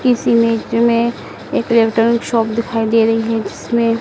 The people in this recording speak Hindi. इस इमेज़ में एक इलेक्ट्रॉनिक शॉप दिखाई दे रही है जिसमें--